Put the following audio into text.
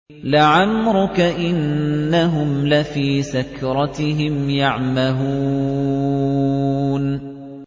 لَعَمْرُكَ إِنَّهُمْ لَفِي سَكْرَتِهِمْ يَعْمَهُونَ